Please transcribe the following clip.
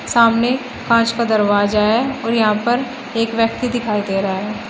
सामने कांच का दरवाजा है और यहां पर एक व्यक्ति दिखाई दे रहा है।